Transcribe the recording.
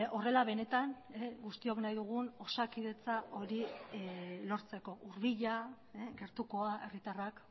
horrela benetan guztiok nahi dugun osakidetza hori lortzeko hurbila gertukoa herritarrak